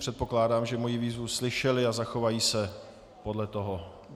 Předpokládám, že moji výzvu slyšeli a zachovají se podle toho.